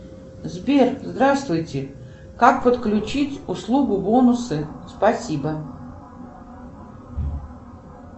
сбер здравствуйте как подключить услугу бонусы спасибо